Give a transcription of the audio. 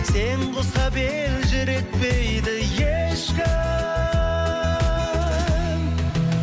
сен құсап елжіретпейді ешкім